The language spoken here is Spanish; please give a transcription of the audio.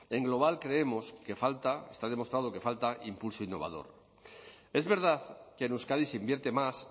en global creemos que falta está demostrado que falta impulso innovador es verdad que en euskadi se invierte más